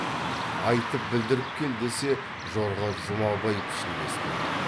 айтып білдіріп кел десе жорға жұмабай пішіндес болады